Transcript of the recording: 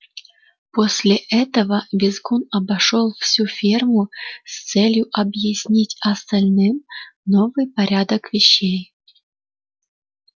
после этого визгун обошёл всю ферму с целью объяснить остальным новый порядок вещей